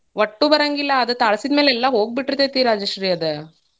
ಒಟ್ಟೂ ಬರಾಂಗಿಲ್ಲಾ, ಅದು ತಾಳ್ಸಿದ್ ಮೇಲೆ ಎಲ್ಲಾ ಹೋಗಿಬಿಡ್ತೈತಿ ರಾಜಶ್ರೀ ಅದ.